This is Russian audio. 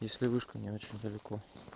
если мышка не очень далеко